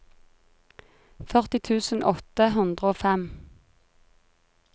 førti tusen åtte hundre og fem